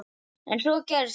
En svo gerist það.